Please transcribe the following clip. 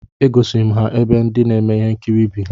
E gosiri m ha ebe ndị na-eme nkiri bi